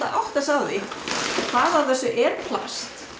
átta sig á því hvað af þessu er plast